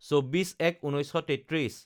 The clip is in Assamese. ২৪/০১/১৯৩৩